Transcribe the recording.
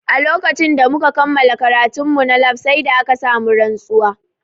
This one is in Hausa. A lokacin da muka kammala karatun mu na lab sai da aka sa mu rantsuwa